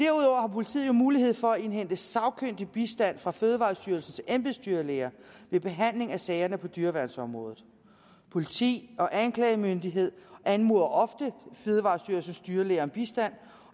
politiet jo mulighed for at indhente sagkyndig bistand fra fødevarestyrelsens embedsdyrlæger ved behandling af sagerne på dyreværnsområdet politi og anklagemyndighed anmoder ofte fødevarestyrelsens dyrlæger om bistand